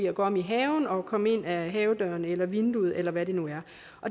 at gå om i haven og komme ind af havedøren eller vinduet eller hvad det nu er